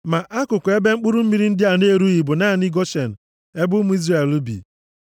Ma akụkụ ebe mkpụrụ mmiri ndị a na-erughị bụ naanị Goshen, ebe ụmụ Izrel bi.